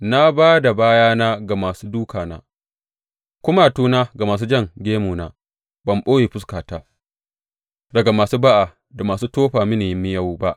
Na ba da bayana ga masu dūkana, kumatuna ga masu jan gemuna; ban ɓoye fuskata daga masu ba’a da masu tofa mini miyau ba.